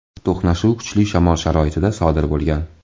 To‘qnashuv kuchli shamol sharoitida sodir bo‘lgan.